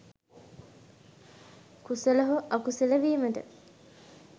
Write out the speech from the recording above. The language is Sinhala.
කුසල හෝ අකුසල වීමට